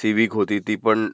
civic होती ती पण